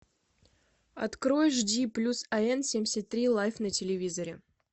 открой жди плюс ан семьдесят три лайф на телевизоре